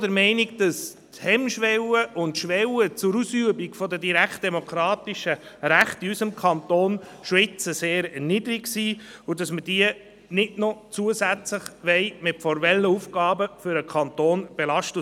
Wir sind auch der Meinung, dass die Hemmschwelle und die Schwelle zur Ausübung der direktdemokratischen Rechte in unserem Kanton schon jetzt sehr niedrig sind und wir diese nicht noch zusätzlich mit formellen Aufgaben für den Kanton belasten wollen.